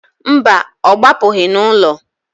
Mba, ọ gbapụgị n'ụlọ.